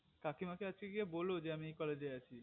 কাকিমা কে আছকে গিয়ে বোলো যে আমি এই college এ আছি